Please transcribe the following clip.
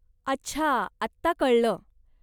अच्छा, आता कळलं.